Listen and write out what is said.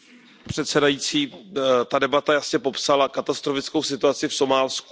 Pane předsedající, ta debata jasně popsala katastrofickou situaci v Somálsku.